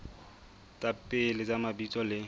tsa pele tsa mabitso le